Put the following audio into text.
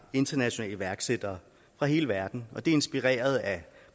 internationale iværksættere fra hele verden og det er inspireret af